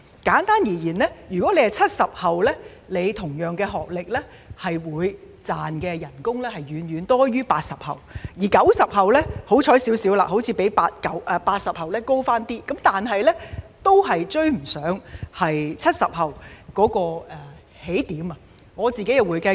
簡單而言，有相同學歷的 "70 後"所賺的薪金遠遠多於 "80 後"，而 "90 後"則較幸運，似乎比 "80 後"略高，但仍然未能追及 "70 後"的起點。